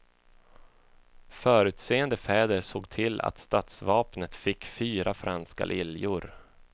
Förutseende fäder såg till att stadsvapnet fick fyra franska liljor.